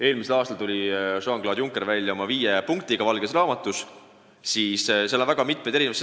Eelmisel aastal tuli Jean-Claude Juncker välja valges raamatus sisalduva viie stsenaariumiga.